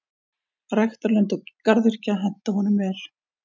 Ræktarlönd og garðyrkja henta honum vel.